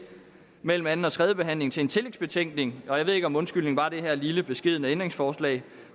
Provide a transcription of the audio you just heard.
mellem anden og tredje behandling til en tillægsbetænkning jeg ved ikke om undskyldningen var det her lille beskedne ændringsforslag